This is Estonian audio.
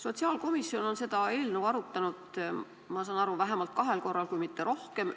Sotsiaalkomisjon on seda eelnõu arutanud, ma saan aru, vähemalt kahel korral, kui mitte rohkem.